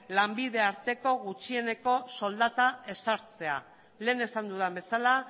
lanbide arteko gutxieneko soldata ezartzea lehen esan dudan bezala